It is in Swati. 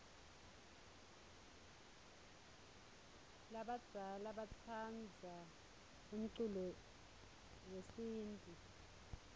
labadzala batsandza umculo yesintfu